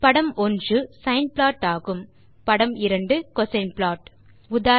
படம் 1 sine plot ஆகும் படம் 2 கோசின் ப்ளாட் ஆகும்